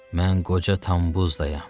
Mən qoca Tambuz dayam.